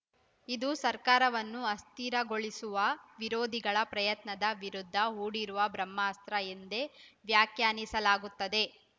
ಇದು ಸರ್ಕಾರವನ್ನು ಅಸ್ಥಿರಗೊಳಿಸುವ ವಿರೋಧಿಗಳ ಪ್ರಯತ್ನದ ವಿರುದ್ಧ ಹೂಡಿರುವ ಬ್ರಹ್ಮಾಸ್ತ್ರ ಎಂದೇ ವ್ಯಾಖ್ಯಾನಿಸಲಾಗುತ್ತದೆ